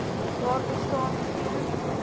daar bestaan geen